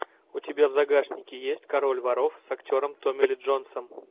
у тебя в загашнике есть король воров с актером томми ли джонсом